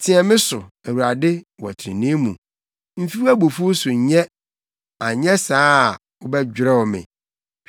Teɛ me so, Awurade, wɔ trenee mu, mfi wʼabufuw mu nyɛ; anyɛ saa a wobɛdwerɛw me.